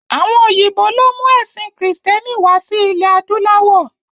Àwọn òyìnbó ló mú ẹ̀sín kìrìsítẹ́nì wá sí ilé adúláwọ̀.